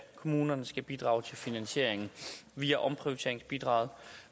kommunerne skal bidrage til finansieringen via omprioriteringsbidraget